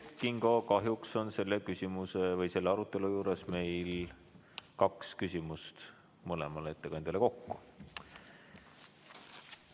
Kert Kingo, kahjuks on punkti arutelu juures meil lubatud kaks küsimust mõlemale ettekandjale kokku.